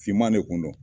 Finman de kun do